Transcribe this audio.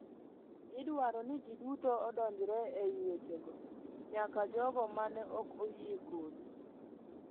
Idwaro ni ji duto odonjre e wechego, nyaka jogo mane ok oyie kodi,”